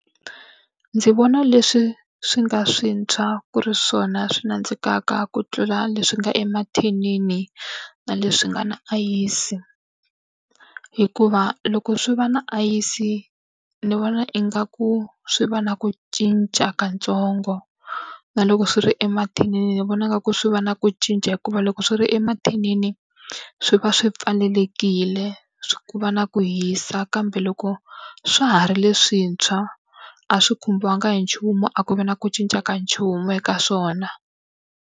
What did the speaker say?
Ndzi vona leswi swi nga swintshwa ku ri swona swi nandzikaka ku tlula leswi nga emathinini na leswi nga na ayisi hikuva loko swi va na ayisi ni vona ingaku swi va na ku cinca ka ntsongo na loko swi ri emathinini ni vonaka ku swi va na ku cinca hikuva loko swi ri emathinini, swi va swi pfalelekile ku va na ku hisa kambe loko swa ha ri leswintshwa, a swi khumbiwanga hi nchumu a ku vi na ku cinca ka nchumu eka swona.